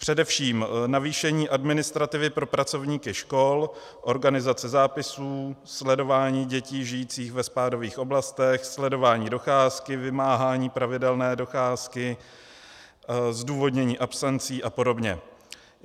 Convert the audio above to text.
Především navýšení administrativy pro pracovníky škol, organizace zápisů, sledování dětí žijících ve spádových oblastech, sledování docházky, vymáhání pravidelné docházky, zdůvodnění absencí a podobně.